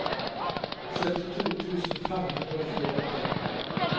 syttito tusen fem hundre og tjueåtte